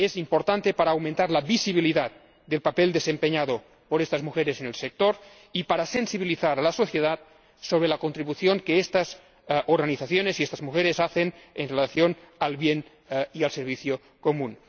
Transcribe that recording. Es importante para aumentar la visibilidad del papel desempeñado por estas mujeres en el sector y para sensibilizar a la sociedad sobre la contribución que estas organizaciones y estas mujeres hacen en relación con el bien y el servicio común.